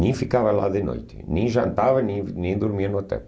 Nem ficava lá de noite, nem jantava, nem dormia no hotel.